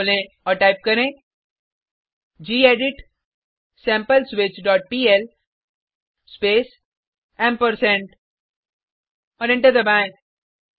terminal खोलें और type करें gedit sample switch dot PL space ampersand और एंटर दबाएँ